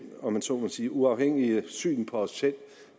om man så må sige uafhængige syn på os selv